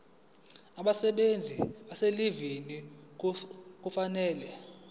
abasebenzi abaselivini kufanele